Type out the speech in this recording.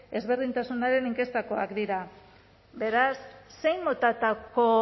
ezberdintasunen inkestakoak dira beraz zein motatako